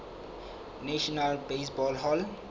national baseball hall